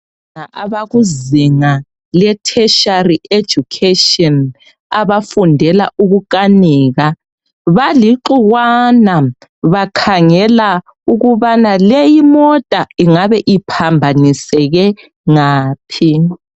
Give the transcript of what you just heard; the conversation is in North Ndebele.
Abantwana abakuzinga ke tertiary education abafundela ukukanika balixukwana bakhangela ukubana leyimota ingabe iphambaniseke ngaphi